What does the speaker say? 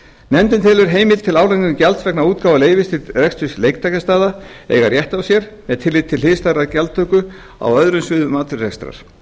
nefndin telur heimild til álagningar gjalds vegna útgáfu leyfis til reksturs leiktækjastaða eiga rétt á sér með tilliti til hliðstæðrar gjaldtöku á öðrum sviðum atvinnurekstrar